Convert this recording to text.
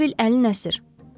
Elə bil əlin əsir.